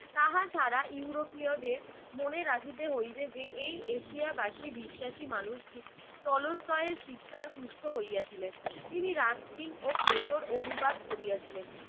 তাহা ছাড়া ইউরোপীয়দের মনে রাখিতে হইবে যে এই এশিয়াবাসী বিশ্বাসী মানুষটি টলস্টয় এর শিক্ষার পুষ্ট হইয়াছিলেন। তিনি রাস্কিং ও প্লেটোর অনুবাদ করিয়াছিলেন